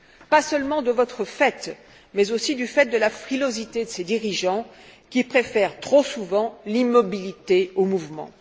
Pas seulement de votre fait, mais aussi à cause de la frilosité de ses dirigeants, qui préfèrent trop souvent l'immobilité au mouvement.